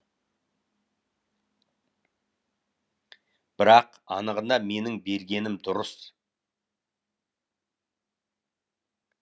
бірақ анығында менің бергенім дұрыс